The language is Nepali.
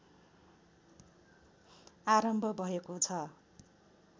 आरम्भ भएको छ